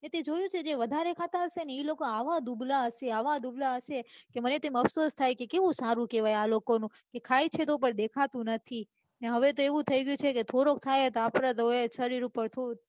તે જોયું જે વધારે ખાતા હશે ને ઈ લોકો આવા દુબળા હશે એવા દુબળા હશે કે મને તો અફસોસ થાય કે કેવું સારું કેવાય કે આ લોકોનું એ ખાય તો પણ દેખાતું નથી અને હવે તો એવું થઇ ગયું છે કે થોડુંક ખાઈએ તો આપડે આઈ શરીર હોય